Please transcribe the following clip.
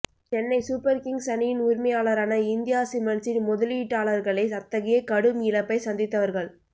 Chennai super kings அணியின் உரிமையாளரான India சிமெண்ட்ஸின் முதலீட்டாளர்களே அத்தகைய கடும் இழப்பை சந்தித்தவர்கள்